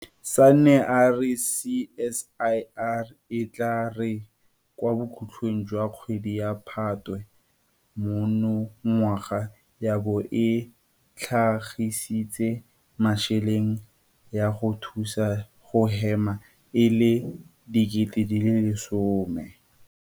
Sanne a re CSIR e tla re kwa bokhutlong jwa kgwedi ya Phatwe monongwaga ya bo e tlhagisitse metšhini ya go thusa go hema e le 10 000.